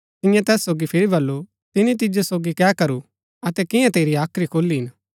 तियें तैस सोगी फिरी बल्लू तिनी तिजो सोगी कै करू अतै कियां तेरी हाख्री खोली हिन